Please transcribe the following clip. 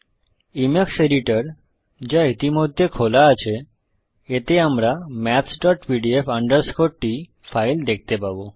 Emacs editor যা ইতিমধ্যে খোলা আছে এতে আমরা mathspdf t ফাইল দেখতে পাবো